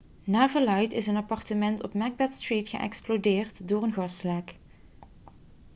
naar verluidt is een appartement op macbeth street geëxplodeerd door een gaslek